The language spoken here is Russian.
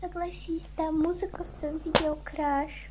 согласись там музыка в том видео краш